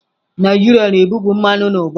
Naijiria na-ebupụ mmanụ n'ụba.